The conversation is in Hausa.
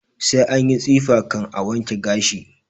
Sai anyi tsifa kan a wanke gashi